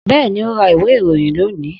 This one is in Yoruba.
Bẹ́ẹ̀ni, ó ra ìwé ìròyìn lónìí